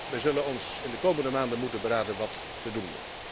We zullen ons in de komende maanden moeten beraden wat te doen.